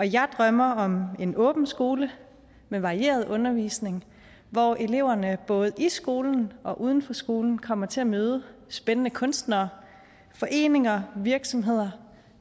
jeg drømmer om en åben skole med varieret undervisning hvor eleverne både i skolen og uden for skolen kommer til at møde spændende kunstnere foreninger virksomheder